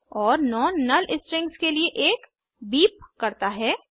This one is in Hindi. और नोन नुल स्ट्रिंग्स के लिए एक बीप करता है